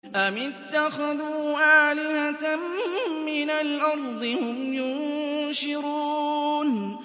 أَمِ اتَّخَذُوا آلِهَةً مِّنَ الْأَرْضِ هُمْ يُنشِرُونَ